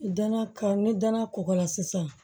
Danaya kan ni danaya kɔgɔla sisan